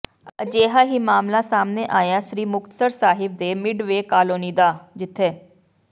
ਅਜਿਹਾ ਹੀ ਮਾਮਲਾ ਸਾਹਮਣੇ ਆਇਆ ਸ੍ਰੀ ਮੁਕਤਸਰ ਸਾਹਿਬ ਦੇ ਮਿਡ ਵੇ ਕਾਲੋਨੀ ਦਾ ਜਿੱਥੇ